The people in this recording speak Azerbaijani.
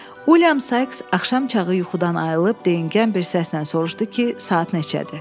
William Sykes axşam çağı yuxudan ayılıb, deyingən bir səslə soruşdu ki, saat neçədir?